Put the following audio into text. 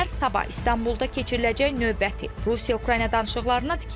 İndi gözlər sabah İstanbulda keçiriləcək növbəti Rusiya-Ukrayna danışıqlarına tikilib.